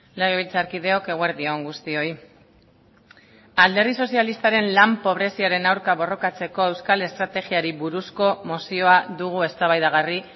legebiltzarkideok eguerdi on guztioi alderdi sozialistaren lan pobreziaren aurka borrokatzeko euskal estrategiari buruzko mozioa dugu eztabaidagarri